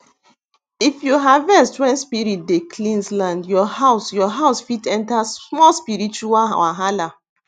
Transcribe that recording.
if you harvest when spirit dey cleanse land your house your house fit enter small spiritual wahala